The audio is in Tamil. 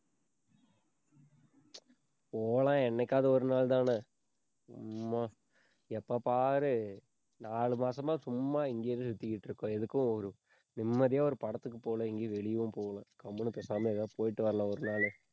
போலாம், என்னைக்காவது ஒரு நாள்தானே சும்மா எப்ப பாரு நாலு மாசமா சும்மா இங்கேயே சுத்திக்கிட்டு இருக்கோம். எதுக்கும் ஒரு நிம்மதியா ஒரு படத்துக்கு போகலை எங்கயும் வெளியவும் போகலை. கம்முனு பேசாம ஏதோ போயிட்டு வரலாம் ஒரு நாளு